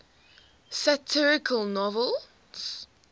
satirical novels